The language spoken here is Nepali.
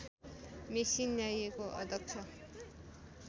मेसिन ल्याइएको अध्यक्ष